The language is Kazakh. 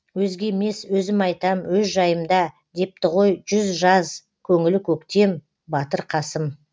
өзге емес өзім айтам өз жайымда депті ғой жүзі жаз көңілі көктем батыр қасым